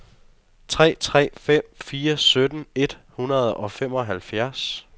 tre tre fem fire sytten et hundrede og femoghalvfems